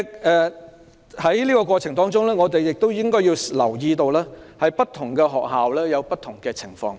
在實施過程中，我們也要留意，不同學校會出現不同的情況。